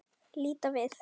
Líta við.